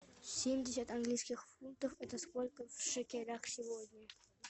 семьдесят английских фунтов это сколько в шекелях сегодня